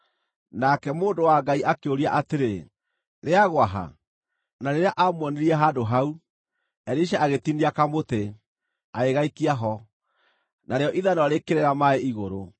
Nake mũndũ wa Ngai akĩũria atĩrĩ, “Rĩagũa ha?” Na rĩrĩa aamuonirie handũ hau, Elisha agĩtinia kamũtĩ, agĩgaikia ho, narĩo ithanwa rĩkĩrera maaĩ igũrũ.